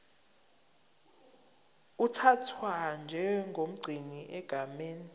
uthathwa njengomgcini egameni